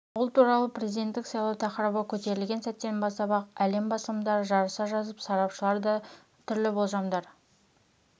бұл туралы президенттік сайлау тақырыбы көтерілген сәттен бастап-ақ әлем басылымдары жарыса жазып сарапшылар да түрлі болжамдар